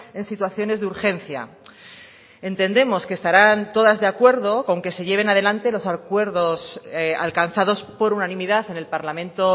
en situaciones de urgencia entendemos que estarán todas de acuerdo con que se lleven adelante los acuerdos alcanzados por unanimidad en el parlamento